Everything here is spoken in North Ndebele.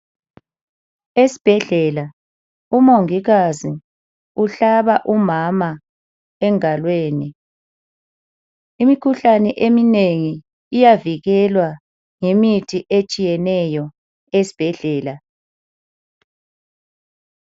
Esibhedlela umongikazi uhlaba umama engalweni imikhuhlane eminengi iyavikelwa ngemithi etshiyeneyo esibhedlela